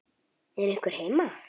Er einhver heima?